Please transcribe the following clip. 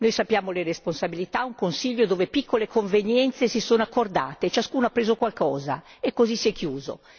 Conosciamo le responsabilità un Consiglio dove piccole convenienze si sono accordate, prendendo ciascuno qualcosa e così si è chiuso.